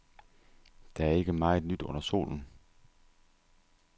Der er ikke meget nyt under solen.